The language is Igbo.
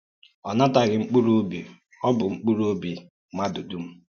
Ọ nàtàghì mkpùrù-òbí; ọ bụ̀ mkpùrù-òbí mmádù dúm.